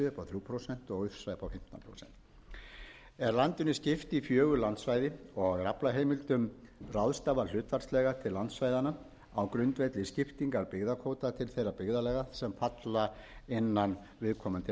þrjú prósent og ufsa upp á fimmtán prósent er landinu skipt í fjögur landsvæða og er aflaheimildum ráðstafað hlutfallslega til landsvæðanna á grundvelli skiptingar byggðakvóta til þeirra byggðarlaga sem falla innan viðkomandi